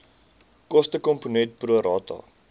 kostekomponent pro rata